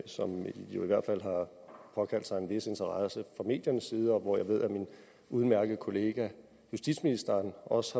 som jo i hvert fald har påkaldt sig en vis interesse fra mediernes side og jeg ved at min udmærkede kollega justitsministeren også